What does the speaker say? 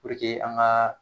an ga